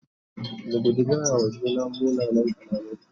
mu guji gaya wa juna munan kalamai